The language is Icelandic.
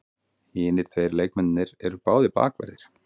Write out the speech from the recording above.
Hinir tveir leikmennirnir eru báðir bakverðir